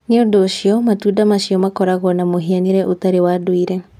Nĩ ũndũ ũcio, matunda macio makoragwo na mũhianĩre ũtarĩ wa ndũire